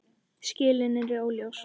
Skilin eru óljós.